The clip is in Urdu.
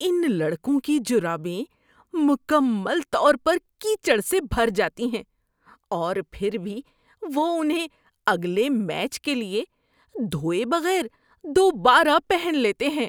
ان لڑکوں کی جرابیں مکمل طور پر کیچڑ سے بھر جاتی ہیں اور پھر بھی وہ انہیں اگلے میچ کے لیے دھوئے بغیر دوبارہ پہن لیتے ہیں۔